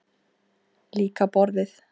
Líka borðið.